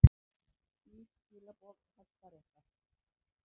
Skýr skilaboð Hæstaréttar